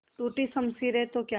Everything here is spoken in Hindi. टूटी शमशीरें तो क्या